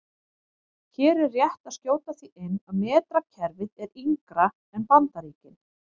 Hér er rétt að skjóta því inn að metrakerfið er yngra en Bandaríkin.